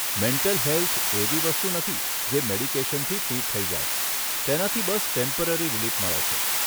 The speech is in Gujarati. મેન્ટલ હેલ્થ એવી વસ્તુ નથી જે મેડિકેશનથી ટ્રીટ થઈ જાય તેનાથી બસ ટેમ્પરરી રિલીફ મળે છે.